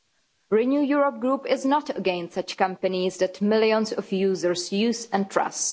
The Renew Europe group is not against such companies that millions of users use and trust.